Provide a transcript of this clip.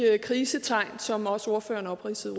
krisetegn som også ordføreren opridsede